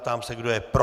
Ptám, se kdo je pro.